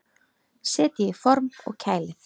Setjið í form og kælið.